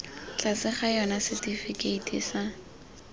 tlase ga yona setifikeiti sa